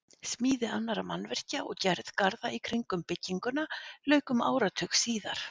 Smíði annarra mannvirkja og gerð garða í kring um bygginguna lauk um áratug síðar.